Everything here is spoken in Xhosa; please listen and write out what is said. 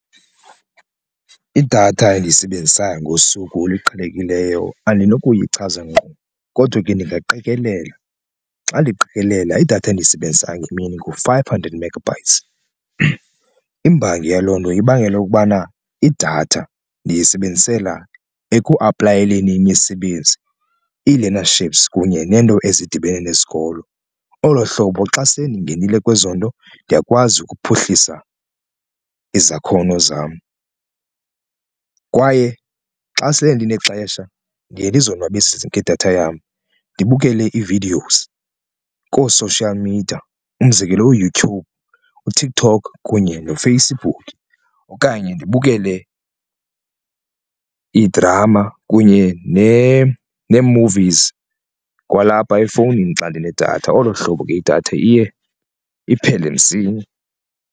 Idatha endiyisebenzisayo ngosuku oluqhelekileyo andikuyichaza ngqo kodwa ke ndingaqikelela, xa ndiqikelela idatha endiyisebenzisayo ngemini ngu-five hundred megabytes. Imbangi yaloo nto ibangela ukubana idatha ndiyisebenzisela ekuaplayeleni imisebenzi ii-learnerships kunye neento ezidibene nesikolo. Olo hlobo xa sele ndingenile kwezo nto ndiyakwazi ukuphuhlisa izakhono zam kwaye xa sele ndinexesha ndiye ndizonwabise ngedatha yam ndibukele ii-videos koo-social media. Umzekelo uYoutube uTikTok kunye noFacebook okanye ndibukele idrama kunye nee-movies kwalapha efowunini xa ndinedatha olo hlobo idatha iye iphele msinya.